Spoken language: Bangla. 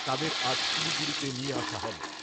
তাদের আজ শিলিগুড়ি নিয়ে আসা হবে ।